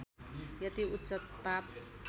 यति उच्च ताप